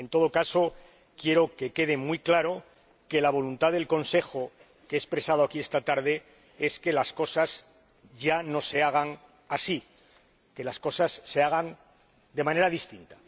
En todo caso, quiero que quede muy claro que la voluntad del Consejo que he expresado aquí esta tarde es que las cosas ya no se hagan así, que las cosas se hagan de manera distinta.